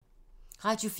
Radio 4